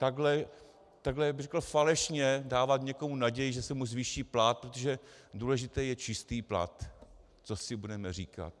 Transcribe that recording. Takhle řekl bych falešně dávat někomu naději, že se mu zvýší plat, protože důležitý je čistý plat, co si budeme říkat.